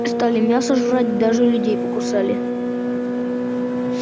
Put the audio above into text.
стали мясо жрать даже людей покусали